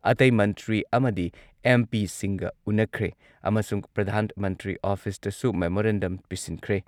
ꯃꯦꯠ ꯗꯤꯄꯥꯔꯠꯃꯦꯟꯠꯅ ꯉꯥꯃꯤꯁꯤꯡ ꯍꯌꯦꯡ ꯐꯥꯎꯕ ꯁꯃꯨꯗ꯭ꯔꯗ ꯉꯥ ꯐꯥꯕ ꯆꯠꯇꯅꯕ ꯈꯪꯍꯟꯈ꯭ꯔꯦ꯫